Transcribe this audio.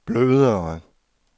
blødere